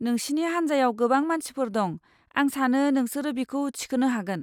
नोंसिनि हानजायाव गोबां मानसिफोर दं, आं सानो नोंसोरो बिखौ थिखोनो हागोन।